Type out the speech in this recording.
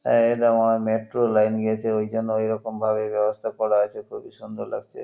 আহ এটা মনে হয় মেট্রো -র লাইন গিয়েছে এইজন্য এরকম ভাবে ব্যবস্থা করা আছে খুবই সুন্দর লাগছে ।